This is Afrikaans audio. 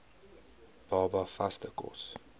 baba vaste kos